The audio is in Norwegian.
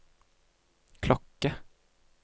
klokke